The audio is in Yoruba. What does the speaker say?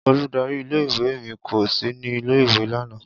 Oludari ìle- ìwe mi ko si ni ile-iwe lana.